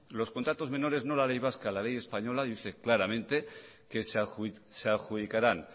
los contratos menores no la ley vasca la ley española dice claramente que se adjudicarán